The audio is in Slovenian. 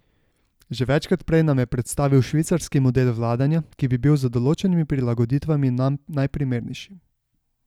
Že večkrat prej nam je predstavil švicarski model vladanja, ki bi bil z določenimi prilagoditvami nam najprimernejši.